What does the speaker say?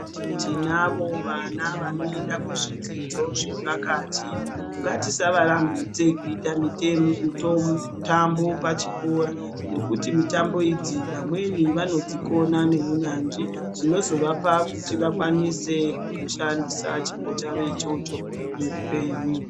Tinavo vana vanoenda kuzvidzidzo zvepakati, ngatisavarambidze kuita mitambo pachikora nekuti mitambo idzi vamweni vanodzikona neunyanzvi zvinozovapa kuti vakwanise kushandisa chipo chavo ichocho muupenyu.